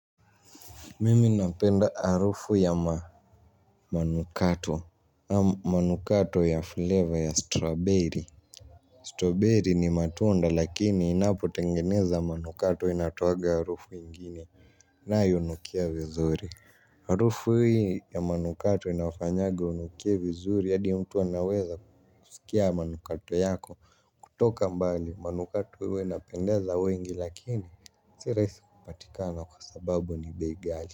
Mimi napenda harufu ya manukato. Manukato ya flavor ya strawberry Strawberry ni matunda lakini inapo tengeneza manukato inatoaga harufu ingine. Nayo unukia vizuri. Arufu hui ya manukato inafanyagi unukie vizuri. Hadi mtu anaweza kusikia manukato yako. Kutoka mbali manukato hwa unapendeza wengi lakini si rahisi kupatikana kwa sababu ni bei ghali.